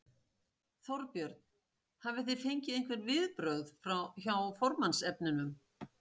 Þorbjörn: Hafið þið fengið einhver viðbrögð hjá formannsefnunum?